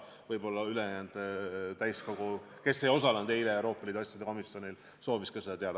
Võib-olla ülejäänud täiskogu, kes ei osalenud eile Euroopa Liidu asjade komisjoni koosolekul, soovis ka seda teada.